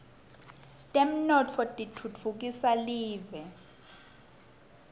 temnotfo titfutfukisa live